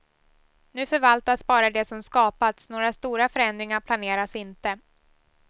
Nu förvaltas bara det som skapats, några stora förändringar planeras inte.